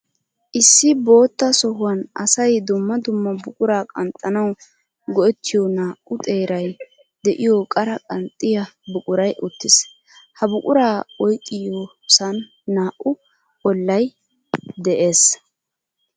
Issi bootta sohuwan asay dumma dumma buqura qanxxanawu go'ettiyo naa'u xeeray de'iyo qara qanxxiya buquray uttiis. Ha buqura oyqqiyossan naa'u ollay de'ees.